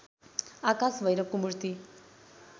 आकाश भैरवको मूर्ति